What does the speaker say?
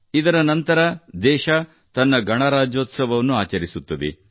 ಇದರ ನಂತರ ದೇಶ ತನ್ನ ಗಣರಾಜ್ಯೋತ್ಸವವನ್ನು ಆಚರಿಸುತ್ತದೆ